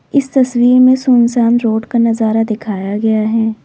इस तस्वीर में सुनसान रोड का नजारा दिखाया गया है।